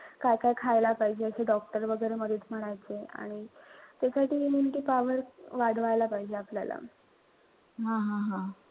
काय-काय खायला पाहिजे ते doctor वगैरे बरेच म्हणायचे. आणि ते काहीतरी immunity power वाढवायला पाहिजे आपल्याला.